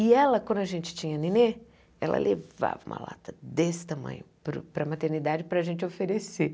E ela, quando a gente tinha neném, ela levava uma lata desse tamanho para o para a maternidade para a gente oferecer.